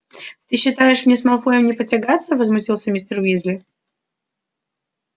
ты считаешь мне с малфоем не потягаться возмутился мистер уизли